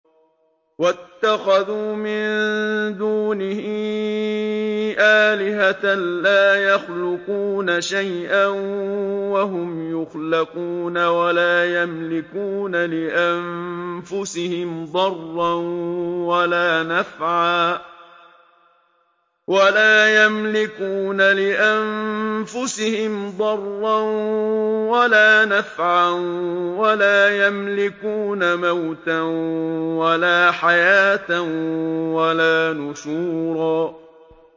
وَاتَّخَذُوا مِن دُونِهِ آلِهَةً لَّا يَخْلُقُونَ شَيْئًا وَهُمْ يُخْلَقُونَ وَلَا يَمْلِكُونَ لِأَنفُسِهِمْ ضَرًّا وَلَا نَفْعًا وَلَا يَمْلِكُونَ مَوْتًا وَلَا حَيَاةً وَلَا نُشُورًا